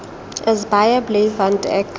is baie bly want ek